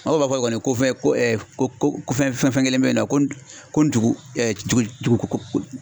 Aw b'a fɔ kɔni ko fɛn ko fɛn fɛn kɛlen bɛ yen ko ni dugu ko